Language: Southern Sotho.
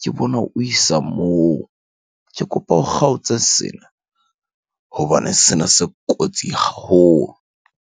ke bona o isa moo. Ke kopa o kgaotse sena hobane sena se kotsi haholo.